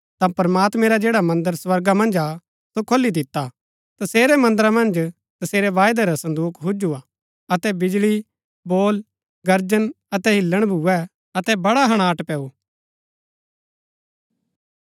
ता प्रमात्मैं रा जैडा मन्दर स्वर्गा मन्ज हा सो खोली दिता तसेरै मन्दरा मन्ज तसेरै वायदै रा सन्दुक हुजु हा अतै बिजळी बोल गर्जन अतै हिल्‍लण भूए अतै बड़े हणाट पैऊँ